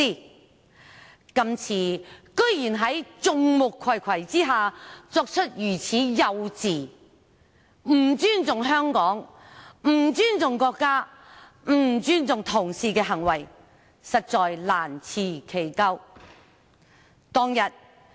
他今次居然在眾目睽睽下作出如此幼稚、不尊重香港、不尊重國家、不尊重同事的行為，實在難辭其咎。